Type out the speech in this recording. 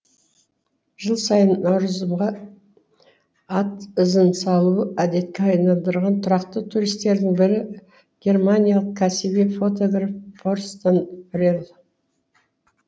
жыл сайын наурызымға ат ізін салу әдетке айналдырған тұрақты туристердің бірі германиялық кәсіби фотограф торстен пре л